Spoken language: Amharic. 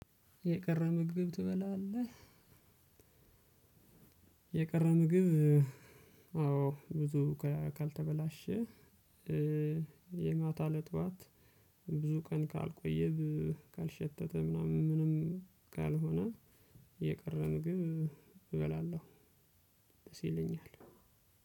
የቀረ ምግብ ትበላለህ? የቀረ ምግብ አዎ ብዙ ካልተበላሸ የማታ ለጥዋት ብዙ ቀን ካልቆየ ካልሸተተ ምናምን ምንም ካልሆነ የቀረ ምግብ እበላለሁ። ደስ ይለኛል።